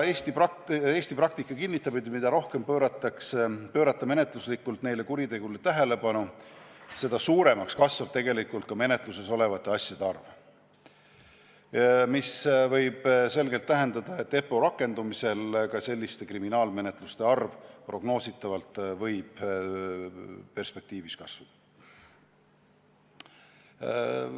Eesti praktika kinnitab, et mida rohkem pöörata menetluslikult neile kuritegudele tähelepanu, seda suuremaks kasvab menetluses olevate asjade arv, mis võib tähendada, et EPPO rakendumise korral võib selliste kriminaalmenetluste arv prognoositavalt perspektiivis kasvada.